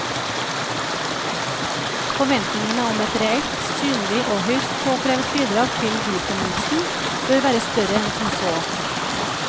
Forventningene om et reelt, synlig og høyst påkrevet bidrag til byfornyelsen bør være større enn som så.